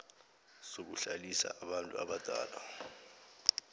zokuhlalisa abantu abadala